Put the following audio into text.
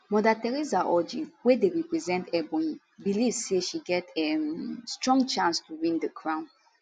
mother theresa orji wey dey represent ebonyi believe say she get um strong chance to win di crown